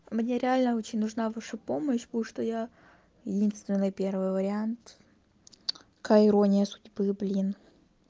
ну мне реально очень нужна ваша помощь потому что я единственный первый вариант какая ирония судьбы блин